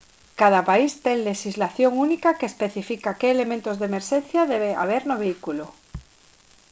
cada país ten lexislación única que especifica que elementos de emerxencia debe haber no vehículo